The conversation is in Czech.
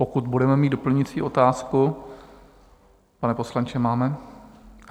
Pokud budeme mít doplňující otázku - pane poslanče, máte?